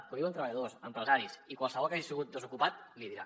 que ho diuen treballadors empresaris i qualsevol que hagi sigut desocupat l’hi dirà